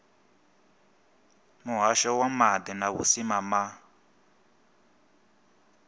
muhasho wa maḓi na vhusimama